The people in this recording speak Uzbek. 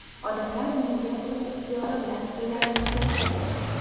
Odamlar menga o‘z ixtiyori bilan pullarini keltirib bergan.